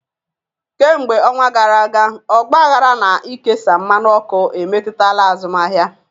Kemgbe ọnwa gara aga, ọgbaghara na ikesa mmanụ ọkụ emetụtala azụmaahịa.